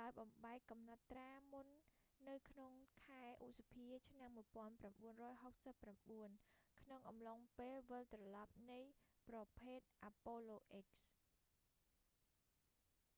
ដោយបំបែកកំណត់ត្រាមុននៅក្នុងខែឧសភាឆ្នាំ1969 ក្នុងអំឡុងពេលវិលត្រឡប់នៃប្រភេទ apollo x